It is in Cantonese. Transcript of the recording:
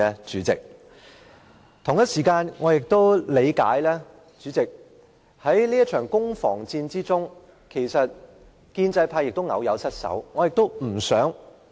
主席，我亦理解，在這場攻防戰中，建制派偶有失守。